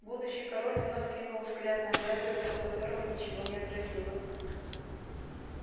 будущий король вновь кинул взгляд на дядю лицо которого ничего не отразило